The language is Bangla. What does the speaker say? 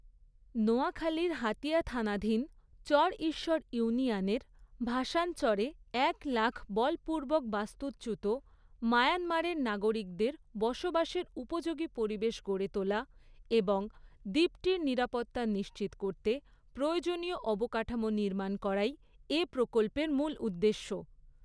নোয়াখালীর হাতিয়া থানাধীন চরঈশ্বর ইউনিয়নের ভাসানচরে এক লাখ বলপূর্বক বাস্তুচ্যুত মায়ানমারের নাগরিকদের বসবাসের উপযোগী পরিবেশ গড়ে তোলা এবং দ্বীপটির নিরাপত্তা নিশ্চিত করতে প্রয়োজনীয় অবকাঠামো নির্মাণ করাই এ প্রকল্পের মূল উদ্দেশ্য।